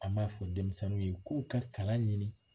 An b'a fɔ denmisɛnninw ye k'u ka kalan ɲini